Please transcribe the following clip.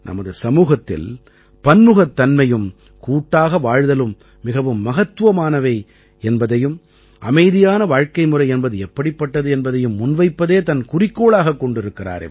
நமது சமூகத்தில் பன்முகத்தன்மையும் கூட்டாக வாழ்தலும் மிகவும் மகத்துவமானவை என்பதையும் அமைதியான வாழ்க்கைமுறை என்பது எப்படிப்பட்டது என்பதையும் முன்வைப்பதே தன் குறிக்கோளாகக் கொண்டிருக்கிறார்